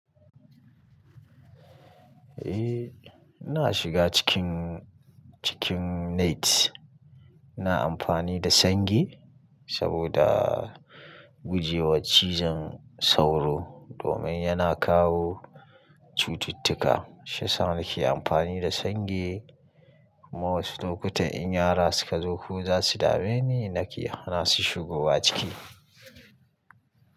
Eh ina shiga cikin, cikin net. Ina amfani da sange saboda guje wa cizon sauro domin yana kawo cututtuka. Shi yasa nake amfani da sange. Wasu lokutan in yara suka zo ko za su dame ni nake hana su shigowa ciki.